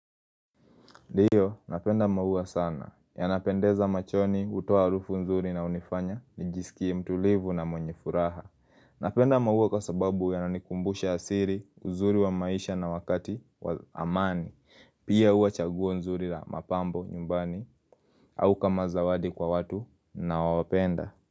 Ndiyo, napenda maua sana. Yanapendeza machoni, hutoa harufu nzuri na hunifanya, nijisikie mtulivu na mwenye furaha. Napenda maua kwa sababu yananikumbusha asili, uzuri wa maisha na wakati wa amani. Pia huwa chaguo nzuri la mapambo nyumbani, au kama zawadi kwa watu ninaowapenda.